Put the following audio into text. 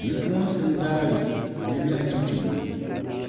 bipuɣunsi n daari bi lɛɣu chɛchɛ ŋɔ